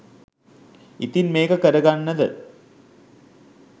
ඉතිං මේක කරගන්නද